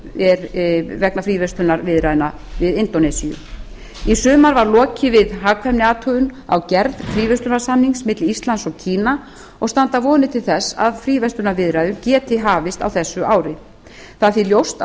í undirbúningi eru fríverslunarviðræður við indónesíu í sumar var lokið við hagkvæmniathugun á gerð fríverslunarsamnings milli íslands og kína og standa vonir til þess að fríverslunarviðræður geti hafist á þessu ári það er því ljóst að